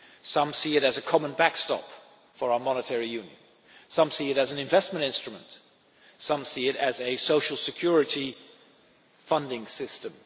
Some see it as a common backstop for our monetary union, some see it as an investment instrument, and some see it as a social security funding system.